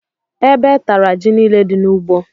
Ébé tara jị niile dị n'ugbó.